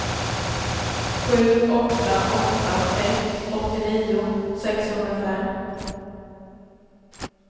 sju åtta åtta ett åttionio sexhundrafem